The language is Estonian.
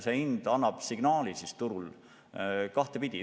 See hind annab turul kahtepidi signaali.